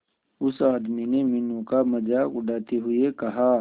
उस आदमी ने मीनू का मजाक उड़ाते हुए कहा